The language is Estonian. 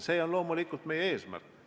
See on loomulikult meie eesmärk.